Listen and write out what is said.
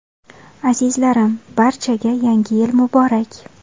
Azizlarim, barchaga – Yangi Yil muborak!